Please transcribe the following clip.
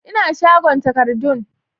Ina shagon takardun